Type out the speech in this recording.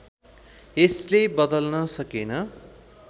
यसले बदल्न सकेन